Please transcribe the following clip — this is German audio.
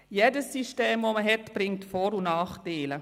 Jedes System, das man hat, bringt Vor- und Nachteile.